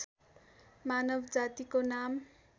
मानव जातिको नाम